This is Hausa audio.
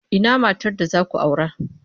Ina matar da za ku aura?